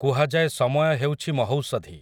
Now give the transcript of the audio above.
କୁହାଯାଏ ସମୟ ହେଉଛି ମହୌଷଧି ।